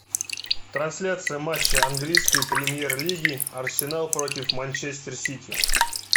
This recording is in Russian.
трансляция матча английской премьер лиги арсенал против манчестер сити